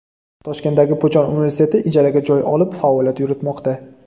Toshkentdagi Puchon universiteti ijaraga joy olib faoliyat yuritmoqda.